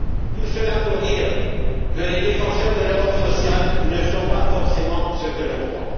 Tout cela pour dire que les défenseurs de l'Europe sociale ne sont pas forcément ceux que l'on croit.